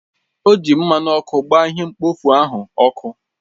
O ji mmanụ ọkụ gbaa ihe mkpofu ahụ ọkụ